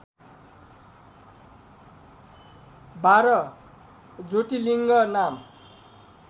१२ ज्योतिलिङ्ग नाम